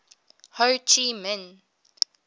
ho chi minh